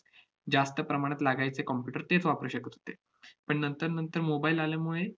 जास्त प्रमाणात लागायचे computer तेच वापरू शकत होते. पण नंतर नंतर mobile आल्यामुळे